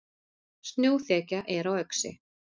Snjóþekja er á Öxi